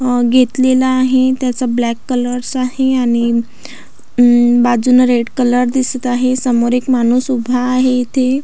अ घेतलेलं आहे त्याचा ब्लॅक कलर्स आहे आणि अ बाजूने रेडकलर दिसत आहे समोर एक माणूस उभा आहे येथे.